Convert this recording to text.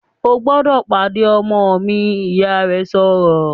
"O gbọ́dọ̀ pàdé ọmọ mi!", Ìyá rẹ̀ sọ̀rọ̀